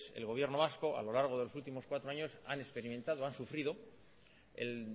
el gobierno vasco a lo largo de los últimos cuatro años han experimentado han sufrido el